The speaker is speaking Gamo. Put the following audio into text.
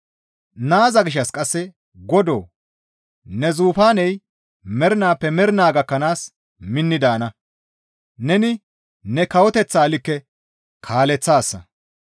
Naaza gishshas qasse, «Godoo! Ne zufaaney mernaappe mernaa gakkanaas minni daana; neni ne kawoteththaa likke kaaleththaasa.